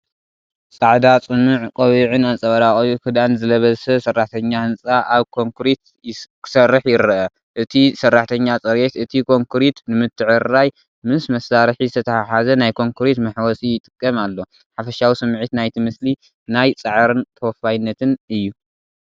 ጻዕዳ ጽኑዕ ቆቢዕን ኣንጸባራቒ ክዳንን ዝለበሰ ሰራሕተኛ ህንጻ ኣብ ኮንክሪት ክሰርሕ ይረአ። እቲ ሰራሕተኛ ፅሬት እቲ ኮንክሪት ንምትዕርራይ ምስ መሳርሒ ዝተተሓሓዘ ናይ ኮንክሪት መሕወሲ ይጥቀም ኣሎ። ሓፈሻዊ ስምዒት ናይቲ ምስሊ ናይ ጻዕርን ተወፋይነትን እዩ።